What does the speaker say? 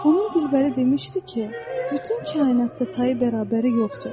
Onun qızıl gülü demişdi ki, bütün kainatda tayı-bərabəri yoxdur.